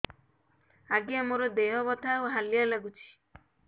ଆଜ୍ଞା ମୋର ଦେହ ବଥା ଆଉ ହାଲିଆ ଲାଗୁଚି